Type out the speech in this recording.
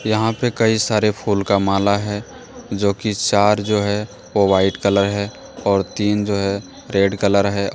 यहां पे कई सारे फूल का माला है जो कि चार जो है वो वाइट कलर है और तीन जो है रेड कलर है |